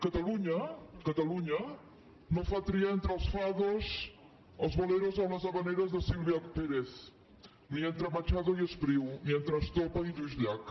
catalunya catalunya no fa triar entre els fados els boleros o les havaneres de sílvia pérez ni entre machado i espriu ni entre estopa i lluís llach